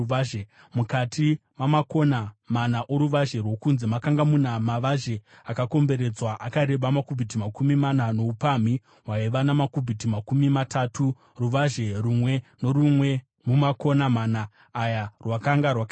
Mukati mamakona mana oruvazhe rwokunze makanga muna mavazhe akakomberedzwa, akareba makubhiti makumi mana noupamhi hwaiva namakubhiti makumi matatu; ruvazhe rumwe norumwe mumakona mana aya rwakanga rwakaenzana.